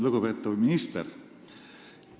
Lugupeetav minister!